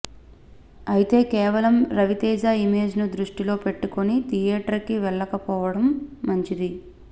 అయితే కేవలం రవితేజ ఇమేజ్ ను దృష్టిలో పెట్టుకుని థియేటర్ కి వెళ్లకపోవడం మంచింది